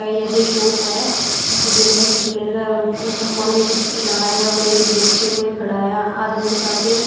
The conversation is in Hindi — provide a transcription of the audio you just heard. ये ऐ_सी शॉप है जिसमें रखा है और फोन में कुछ चला रहा है और एक गेट पे कोई खड़ा है आदमी सा के--